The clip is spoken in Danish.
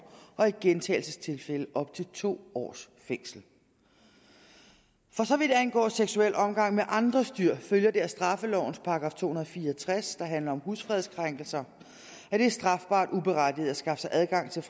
og i gentagelsestilfælde op til to års fængsel for så vidt angår seksuel omgang med andres dyr følger det af straffelovens § to hundrede og fire og tres der handler om husfredskrænkelser at det er strafbart uberettiget at skaffe sig adgang til